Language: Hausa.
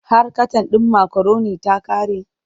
Har katan ɗin makaroni ta ƙare?